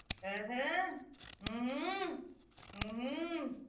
અમમ હમમ